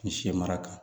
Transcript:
Ni sɛ mara kan